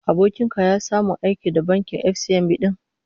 Abokin ka ya samu aiki da bankin FCMB din?